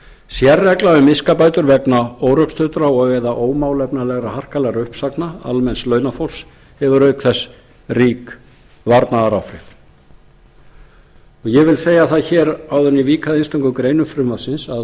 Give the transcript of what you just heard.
sérregla um miskabætur vegna órökstuddra eða ómálefnalega harkalegra uppsagna almenns launafólks hefur auk þess rík varnaðaráhrif ég vil segja það hér áður en ég vík að einstökum greinum frumvarpsins að á